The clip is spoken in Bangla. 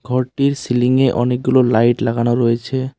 ঘরটির সিলিংয়ে অনেকগুলো লাইট লাগানো রয়েছে।